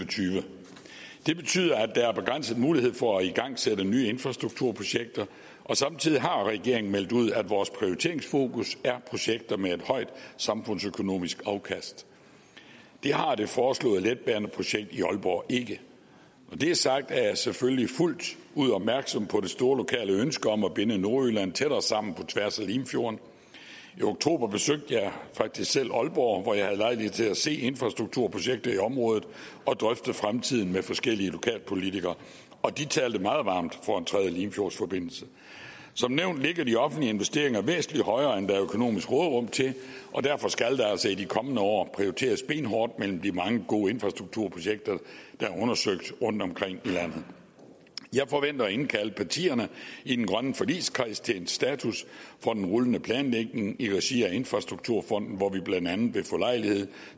og tyve det betyder at der er begrænsede muligheder for at igangsætte nye infrastrukturprojekter og samtidig har regeringen meldt ud at vores prioriteringsfokus er projekter med et højt samfundsøkonomisk afkast det har det foreslåede letbaneprojekt i aalborg ikke når det er sagt er jeg selvfølgelig fuldt ud opmærksom på det store lokale ønske om at binde nordjylland tættere sammen på tværs af limfjorden i oktober besøgte jeg faktisk selv aalborg hvor jeg havde lejlighed til at se infrastrukturprojekter i området og drøfte fremtiden med forskellige lokalpolitikere og de talte meget varmt for en tredje limfjordsforbindelse som nævnt ligger de offentlige investeringer væsentlig højere end der er økonomisk råderum til og derfor skal der altså i de kommende år prioriteres benhårdt mellem de mange gode infrastrukturprojekter der er undersøgt rundtomkring i landet jeg forventer at indkalde partierne i den grønne forligskreds til en status for den rullende planlægning i regi af infrastrukturfonden hvor vi blandt andet vil få lejlighed